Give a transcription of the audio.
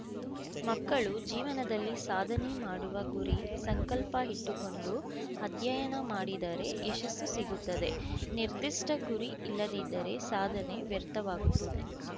ಮಕ್ಕಳು ಜೀವನದಲ್ಲಿ ಸಾಧನೆ ಮಾಡುವ ಗುರಿ ಸಂಕಲ್ಪ ಇಟ್ಟುಕೊಂಡು ಅಧ್ಯಯನ ಮಾಡಿದರೆ ಯಶಸ್ಸು ಸಿಗುತ್ತದೆ ನಿರ್ದಿಷ್ಟಗುರಿ ಇಲ್ಲದಿದ್ದರೇ ಸಾಧನೆ ವ್ಯರ್ಥವಾಗುತ್ತದೆ